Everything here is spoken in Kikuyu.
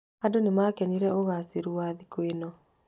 Andũ nĩ maakenire ũgaacĩru wa thigũkũ ĩno.